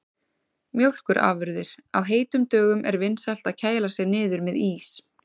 Mjólkurafurðir: Á heitum dögum er vinsælt að kæla sig niður með ís.